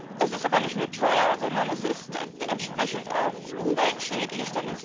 Es ist aber nicht nur teuer, sondern es ist entsprechend auch umweltschädlich.